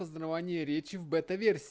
познавание речи в бета версии